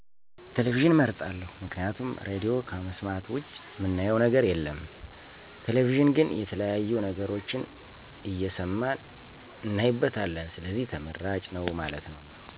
ቴሌቪዥንን አመርጣለሁ፦ ምክንያቱም ራድዮ ከመሥማት ውጭ ምናየው ነገር የለም ቴሌቪዥን ግን የተለያዬ ነገሮችን እሠማን እናይበታለን ስለዚህ ተመራጭ ነው ማለት ነው።